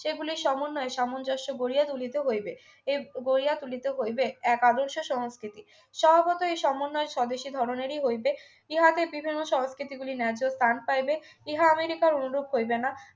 সেগুলির সমন্বয়ে সামঞ্জস্য গুড়িয়া তুলিতে হইবে এই গড়িয়া তুলিতে হইবে এক আদর্শ সংস্কৃতির সভাপতি এই সমন্বয় স্বদেশী ধরনেরই হইবে ইহাকে বিভিন্ন সংস্কৃতিগুলির ন্যায্য ত্রাণ চাইবে ইহা আমেরিকা অনুরূপ হইবে না